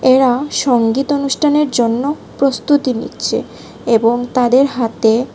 এরা সঙ্গীত অনুষ্ঠানের জন্য প্রস্তুতি নিচ্ছে এবং তাদের হাতে --